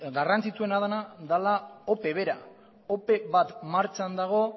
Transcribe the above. garrantzitsuena dena dela ope bera ope bat martxan dago